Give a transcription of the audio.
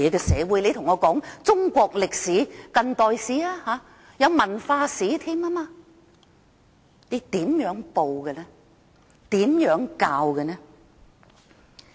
說到中國歷史，還有近代史、文化史云云，但中共怎樣報道史實？